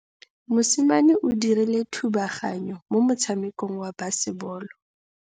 Mosimane o dirile thubaganyô mo motshamekong wa basebôlô.